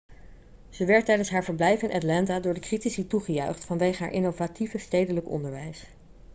ze werd tijdens haar verblijf in atlanta door de critici toegejuicht vanwege haar innovatieve stedelijk onderwijs